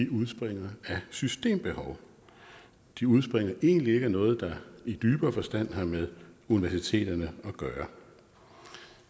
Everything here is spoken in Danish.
udspringer af systembehov de udspringer egentlig ikke af noget der i dybere forstand har med universiteterne at gøre